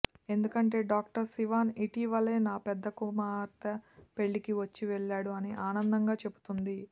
ఎందుకంటే డాక్టర్ శివన్ ఇటీవలే నా పెద్ద కుమార్తె పెళ్లికి వచ్చి వెళ్లాడు అని ఆనందంగా చెబుతుంది